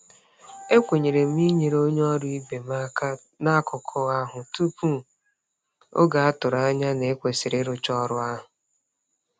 E kwenyere m inyere onye ọrụ ibe m aka n'akụkọ ahụ tupu oge a tụrụ anya na e kwesịrị ịrụcha ọrụ ahụ.